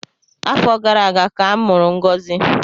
Afọ gara aga ka a mụrụ ngozi